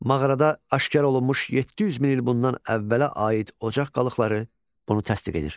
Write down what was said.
Mağarada aşkar olunmuş 700 min il bundan əvvələ aid ocaq qalıqları bunu təsdiq edir.